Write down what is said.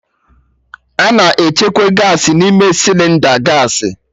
A na-echekwa Gaasị n'ime Sịlịnda gaasị